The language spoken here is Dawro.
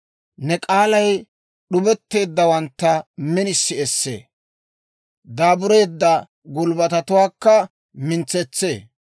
Ne k'aalay d'ubetteeddawantta minisi essee; daabureedda gulbbatatuwaakka mintsetsee.